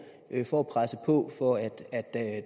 for at presse på for at